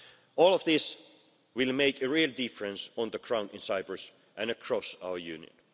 All of this will make a real difference on the ground in Cyprus and across our Union.